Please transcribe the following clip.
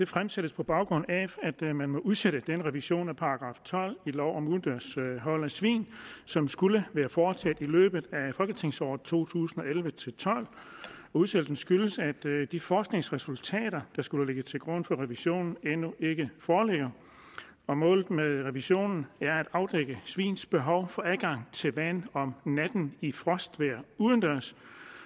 fremsættes på baggrund af at man udsætter den revision af § tolv i lov om udendørs hold af svin som skulle været foretaget i løbet af folketingsåret to tusind og elleve til tolv udsættelsen skyldes at de forskningsresultater der skulle have ligget til grund for revisionen endnu ikke foreligger målet med revisionen er at afdække svins behov for adgang til vand om natten i frostvejr udendørs